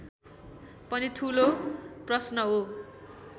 पनि ठूलो प्रश्न हो